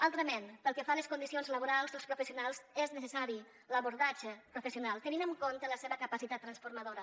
altrament pel que fa a les condicions laborals dels professionals és necessari l’abordatge professional tenint en compte la seva capacitat transformadora